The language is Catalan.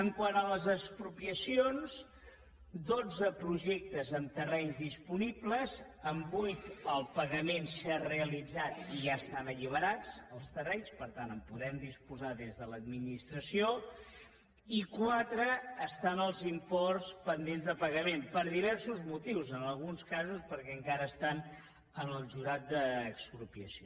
quant a les expropiacions dotze projectes amb terrenys disponibles en vuit el pagament s’ha realitzat i ja estan alliberats els terrenys per tant en podem disposar des de l’administració i en quatre hi ha els imports pendents de pagament per diversos motius en alguns casos perquè encara estan en el jurat d’expropiació